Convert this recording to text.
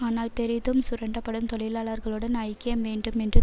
ஆனால் பெரிதும் சுரண்டப்படும் தொழிலாளர்களுடன் ஐக்கியம் மீண்டும் மீண்டும்